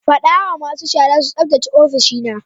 Fada wa masu shara su tsaftace ofishina.